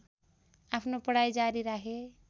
आफ्नो पढाइ जारी राखे